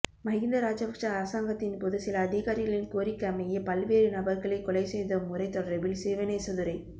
மஹிந்த ராஜபக்ச அரசாங்கத்தின் போது சில அதிகாரிகளின் கோரிக்கைக்கமைய பல்வேறு நபர்களை கொலை செய்த முறை தொடர்பில் சிவனேசதுரை